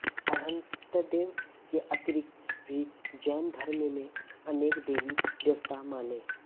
अर्हन्तदेव के अतिरिक्त भी जैन धर्म में अनेक देवी देवता माने